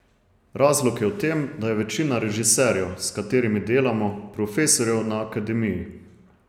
Razlog je v tem, da je večina režiserjev, s katerimi delamo, profesorjev na akademiji.